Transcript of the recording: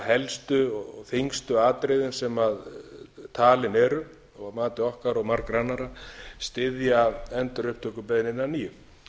helstu og þyngstu atriðin sem talin eru að mati okkar og margra annarra styðja endurupptökubeiðnina að nýju